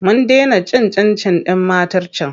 Mun dena cin cin-cin ɗin matar can.